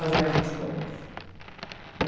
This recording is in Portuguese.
As mesmas coisas.